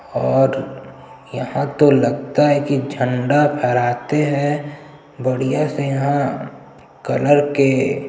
और यहाँ तो लगता है की तो झंडा फहराते है बढ़िया से यहाँ कलर के--